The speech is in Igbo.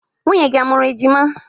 Nwunye gị a mụrụ ejima?